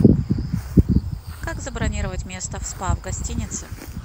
как забронировать место в спа в гостинице